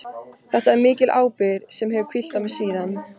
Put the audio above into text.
Þetta er mikil ábyrgð sem hefur hvílt á mér síðan.